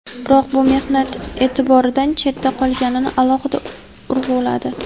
biroq bu mehnat e’tibordan chetdan qolganini alohida urg‘uladi.